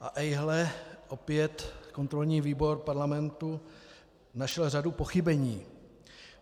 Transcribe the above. A ejhle, opět kontrolní výbor Parlamentu našel řadu pochybení.